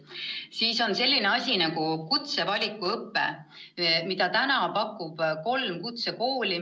Veel on selline asi nagu kutsevalikuõpe, mida täna pakuvad kolm kutsekooli.